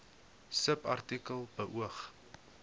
subartikel beoog